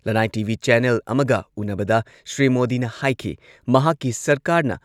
ꯂꯟꯅꯥꯏ TV. Channel ꯑꯃꯒ ꯎꯟꯅꯕꯗ ꯁ꯭ꯔꯤ ꯃꯣꯗꯤꯅ ꯍꯥꯏꯈꯤ ꯃꯍꯥꯛꯀꯤ ꯁꯔꯀꯥꯔꯅ